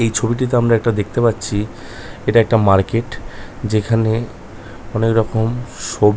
এই ছবিটিতে আমরা একটা দেখতে পারছি এটা একটা মার্কেট যেখানে অনেক রকম সব--